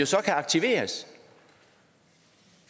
så kan aktiveres